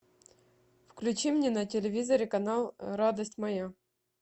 включи мне на телевизоре канал радость моя